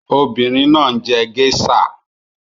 Obìnrin náà ń njé geisha.